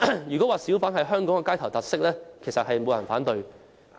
如果說小販是香港的街頭特色，應該沒有人會反對。